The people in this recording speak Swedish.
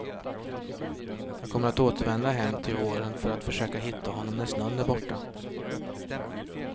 Jag kommer att återvända hem till våren för att försöka hitta honom när snön är borta.